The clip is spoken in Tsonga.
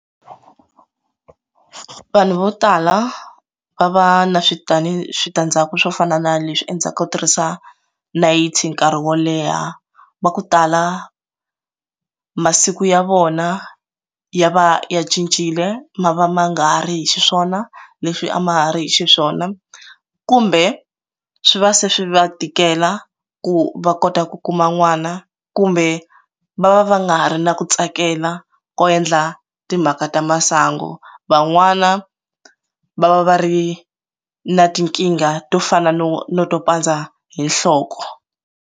Vanhu vo tala va va na switandi switandzhaku swo fana na leswi endzhaku ka ku tirhisa nayiti nkarhi wo leha va ku tala masiku ya vona ya va ya cincile ma va ma nga ri hi xiswona leswi a ma ha ri hi xiswona kumbe swi va se swi va tikela ku va kota ku kuma n'wana kumbe va va va nga ri na ku tsakela ko endla timhaka ta masangu van'wana va va va ri na tinkingha to fana no no to pandza hi nhloko.